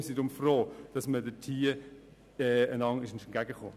Wir sind froh, dass man einander in diesem Punkt entgegenkam.